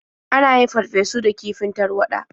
An yin farfesu da kifin tarwaɗa.